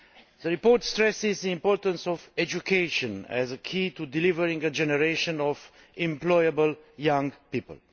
The report stresses the importance of education as a key to delivering a generation of employable young people.